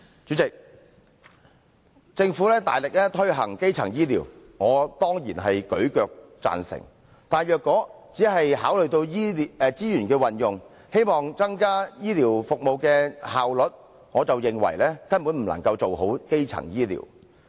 主席，政府大力推行基層醫療，我當然舉腳贊成，但如果只是考慮到資源運用，希望增加醫療服務的效率，我則認為根本不能做好基層醫療。